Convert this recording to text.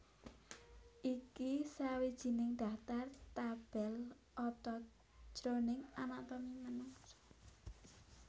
Iki sawijining daftar tabel otot jroning anatomi manungsa